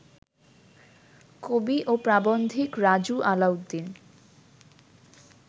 কবি ও প্রাবন্ধিক রাজু আলাউদ্দিন